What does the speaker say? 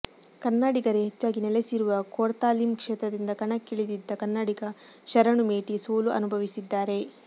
ಕನ್ನಡಿಗರೇ ಹೆಚ್ಚಾಗಿ ನೆಲೆಸಿರುವ ಕೊರ್ತಾಲಿಮ್ ಕ್ಷೇತ್ರದಿಂದ ಕಣಕ್ಕಿಳಿದಿದ್ದ ಕನ್ನಡಿಗ ಶರಣು ಮೇಟಿ ಸೋಲು ಅನುಭವಿಸಿದ್ದಾರೆ